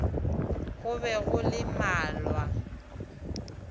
go be go le malwa